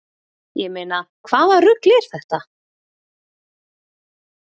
Ég meina hvaða rugl er þetta?